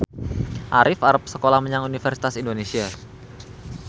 Arif arep sekolah menyang Universitas Indonesia